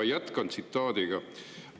" Ja jätkan refereeringuga.